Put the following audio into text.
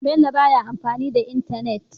Bello baya amfani da entanet